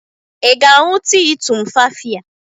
Ị ga-aṅụ tii tumfafiya?